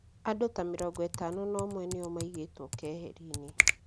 Andũ ta mĩrongo ĩtano na ũmwe nĩo maigĩtwo keheri-inĩ